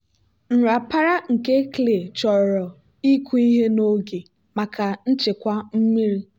nrapara nke clay chọrọ ịkụ ihe n'oge maka nchekwa mmiri.